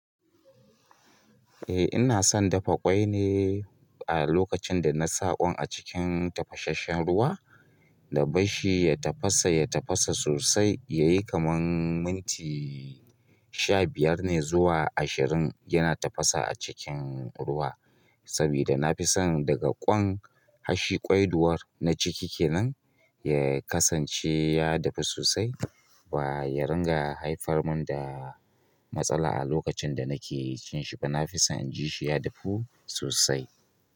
Eh ina son dafa ƙwai ne a lokacin da na sa ƙwan a cikin tafashasshen ruwa da bashshi ya tafasa, ya tafasa sosai yayi kaman minti sha biyar ne zuwa ashirin yana tafasa a cikin ruwa. Sabida na fi son daga ƙwan, harshi ƙwai duwar na ciki kenan ya kasance ya dafu sosai ba ya ringa haifar mun da matsala a lokacin da nake cin shi ba. Na fi son inji shi ya dafu sosai.